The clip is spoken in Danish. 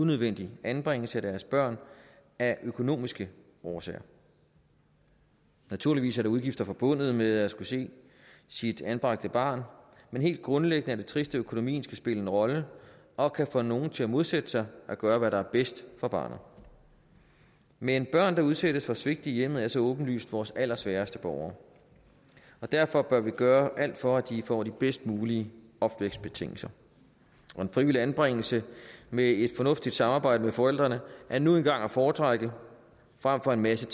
nødvendig anbringelse af deres børn af økonomiske årsager naturligvis er der udgifter forbundet med at skulle se sit anbragte barn men helt grundlæggende er det trist at økonomien skal spille en rolle og kan få nogle til at modsætte sig at gøre hvad der er bedst for barnet men børn som udsættes for svigt i hjemmet er så åbenlyst vores allersvageste borgere og derfor bør vi gøre alt for at de får de bedst mulige opvækstbetingelser og en frivillig anbringelse med et fornuftigt samarbejde med forældrene er nu engang at foretrække frem for en masse